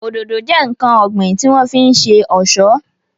Òdòdó jẹ́ ǹkan ọ̀gbìn tí wọ́n fi ń ṣe ọ̀ṣọ́